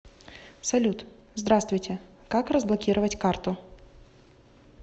салют здраствуйте как разблокировать карту